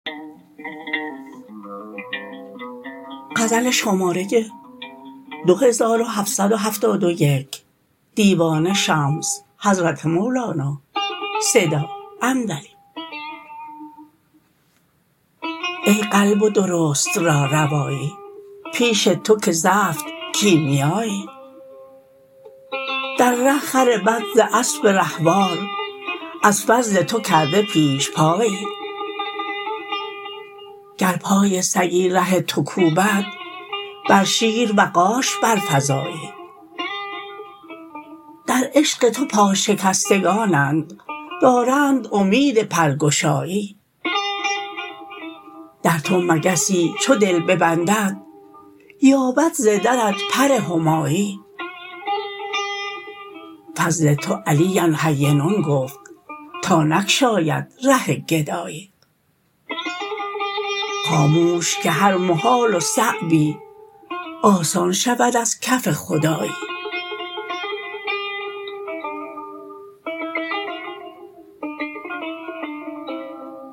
ای قلب و درست را روایی پیش تو که زفت کیمیایی در ره خر بد ز اسب رهوار از فضل تو کرده پیش پایی گر پای سگی ره تو کوبد بر شیر وغاش برفزایی در عشق تو پاشکستگانند دارند امید پرگشایی در تو مگسی چو دل ببندد یابد ز درت پر همایی فضل تو علی هین گفت تا نگشاید ره گدایی خاموش که هر محال و صعبی آسان شود از کف خدایی